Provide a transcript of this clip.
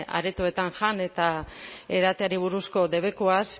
aretoetan jan eta edateari buruzko debekuaz